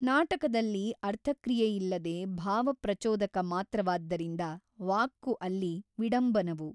ನಾಟಕದಲ್ಲಿ ಅರ್ಥಕ್ರಿಯೆಯಿಲ್ಲದೆ ಭಾವಪ್ರಚೋದಕ ಮಾತ್ರವಾದ್ದರಿಂದ ವಾಕ್ಕು ಅಲ್ಲಿ ವಿಡಂಬನವು.